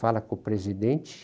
Fala com o presidente.